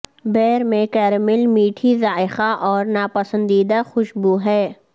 بیر میں کیرمیل میٹھی ذائقہ اور ناپسندیدہ خوشبو ہے